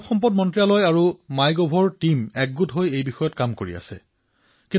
মানৱ সম্পদ বিকাশ মন্ত্ৰালয় আৰু মাই গভ দলে মিলি ইয়াৰ ওপৰত কাম কৰি আছে